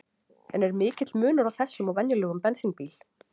En er mikill munur á þessum og venjulegum bensínbíl?